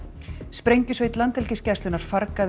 sprengjusveit Landhelgisgæslunnar